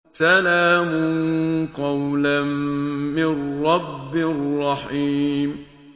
سَلَامٌ قَوْلًا مِّن رَّبٍّ رَّحِيمٍ